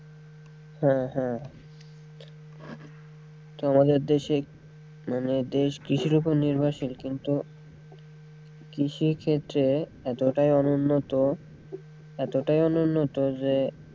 হ্যাঁ হ্যাঁ আমাদের দেশে মানে দেশ কৃষির ওপর নির্ভরশীল কিন্তু কৃষি ক্ষেত্রে এতোটাই অনুন্নত, এতোটাই অনুন্নত যে,